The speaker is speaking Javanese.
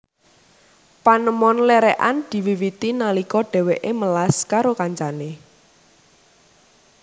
Panemon lerekan diwiwiti nalika dheweke melas karo kancane